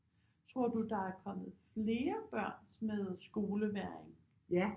Tror du der er kommet flere børn med skolevægring